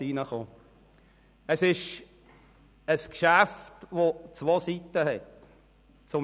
Es handelt sich hier um ein Geschäft, das zwei Seiten hat.